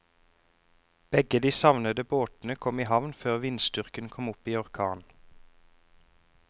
Begge de savnede båtene kom i havn før vindstyrken kom opp i orkan.